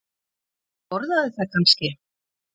Og borðaði það kannski?